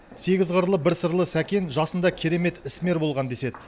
сегіз қырлы бір сырлы сәкен жасында керемет ісмер болған деседі